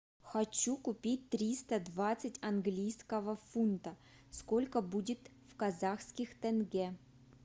хочу купить триста двадцать английского фунта сколько будет в казахских тенге